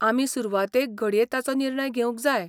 आमी सुरवातेक घडये ताचो निर्णय घेवंक जाय.